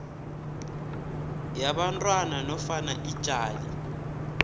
yabantwana nofana ijaji